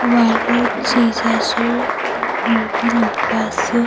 ৱালত জিজাছৰ মূৰ্ত্তি লগুৱা আছে।